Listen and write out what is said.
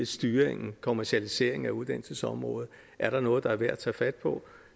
styringen kommercialiseringen af uddannelsesområdet er noget der er værd at tage fat på